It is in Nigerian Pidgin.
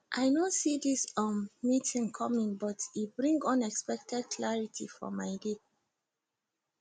i no see this um meeting coming but e bring unexpected clarity for my day